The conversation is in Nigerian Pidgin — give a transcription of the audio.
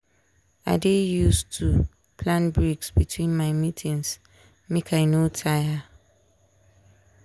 i dey use too plan breaks between my meetings make i no tire.